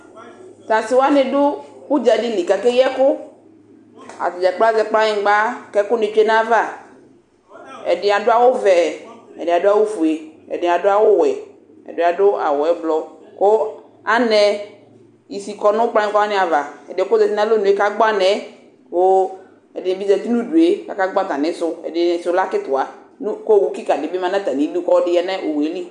Tasɩ wanɩ dʊ ʊdzadɩlɩ kʊ akeyɩ ɛkʊ atnɩ dzakplo azɛ kplanyigba kʊ alʊ ɛkʊtsʊe nʊ aƴava ɛdɩ adʊ awʊvɛ ɛdɩ adʊ awʊfʊe adi adʊ awuwe ɛdɩ adʊ awʊɛblɔ kʊ anɛ ɩsɩ kɔnʊ kplanyɩgba wanɩ ava ɛdɩyɛ kʊ ɔzatɩ nʊ alɔnʊ yɛ kagbɔ anɛ kʊ ɛdɩbɩ zatɩ nʊ ʊdʊe kʊ akagbɔ atamɩsʊ ɛdɩnɩsʊ lɛ akitiwa kʊ owʊkɩkadɩ dʊ ʊdʊ kʊ ɔlɔdɩ dʊ oxʊelɩ